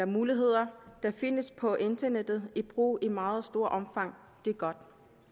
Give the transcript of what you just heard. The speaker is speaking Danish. muligheder der findes på internettet i brug i meget stort omfang det er godt